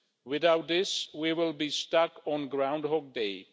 Without this, we will be stuck on Groundhog Day.